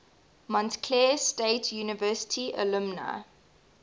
montclair state university alumni